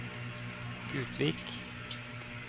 Gutvik